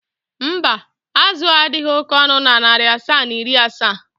mba, azụ a adịghị oke ọnụ na narị asaa na iri asaa.